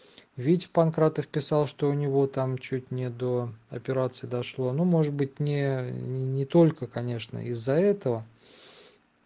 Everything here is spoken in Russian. ведь панкратов писал что у него там чуть не до операции дошло ну может быть не не только конечно из-за этого